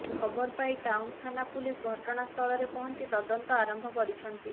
ଖବର ପାଇ ଟାଉନ ଥାନା ପୁଲିସ ଘଟଣା ସ୍ଥଳରେ ପହଞ୍ଚି ତଦନ୍ତ ଆରମ୍ଭ କରିଛନ୍ତି